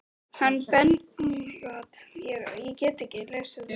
Hann bendir á annan lágreistan hól.